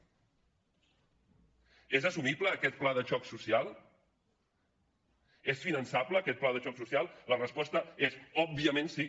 és assumible aquest pla de xoc social és finançable aquest pla de xoc social la resposta és òbviament sí